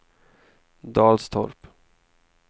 Dalstorp